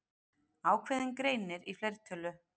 Ákveðinn greinir í fleirtölu.